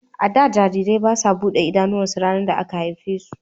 A da, jarirai ba su buɗe idanuwansu ranar da aka haife su.